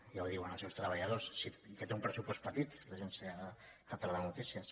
ja ho diuen els seus treballadors que té un pressupost petit l’agència catalana de notícies